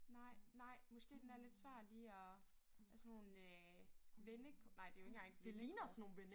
Nej nej måske den er lidt svær lige at ja sådan nogle øh vende nej det jo ikke engang vendekort